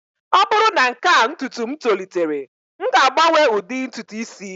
ọ bụrụ na nke a ntutu m tolitere, m ga-agbanwe ụdị ntutu isi